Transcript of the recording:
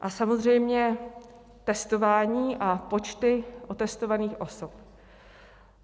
A samozřejmě testování a počty otestovaných osob.